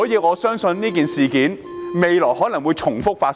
我相信未來類似事件會重複發生。